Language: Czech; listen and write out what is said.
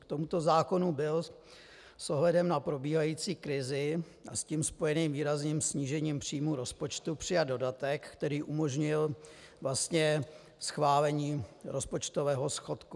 K tomuto zákonu byl s ohledem na probíhající krizi a s tím spojeným výrazným snížení příjmů rozpočtu přijat dodatek, který umožnil schválení rozpočtového schodku.